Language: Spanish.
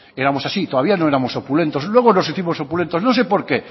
éramos así todavía no éramos opulentos luego nos hicimos opulentos no sé por qué